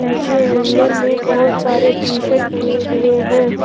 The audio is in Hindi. पीछे हैंगर में बहुत सारे टी शर्ट टंगे हुए हैं।